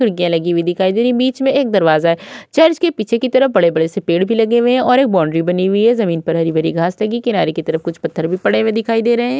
खिड़कियां लगी हुई दिखाई दे रही है बीच मे एक दरवाजा है। चर्च के पीछे की तरफ बड़े-बड़े से पेड़ भी लगे हुए हैं और एक बाउंड्री बनी हुई है जमीन पर हरी-भरी घास लगीं किनारे पर कुछ पत्थर भी पड़े दिखाई दे रहे हैं।